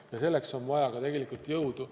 Ja selleks on vaja ka tegelikult jõudu.